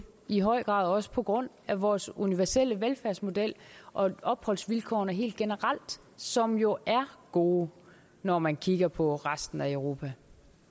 i høj grad også på grund af vores universelle velfærdsmodel og opholdsvilkårene helt generelt som jo er gode når man kigger på resten af europa